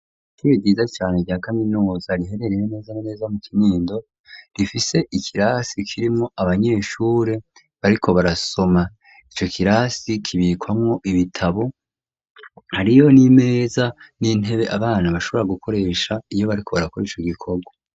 Ishure ryiza cane rya kaminuza riherereye neza na neza mu kinindo rifise ikirasi kirimwo abanyeshure bariko barasoma. Ico kirasi kibikwamwo ibitabo , hariyo n'imeza n'intebe abana bashobora gukoresha iyo barilko barakora ico gikorwa.